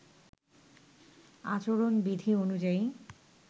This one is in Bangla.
আচরণবিধি অনুযায়ী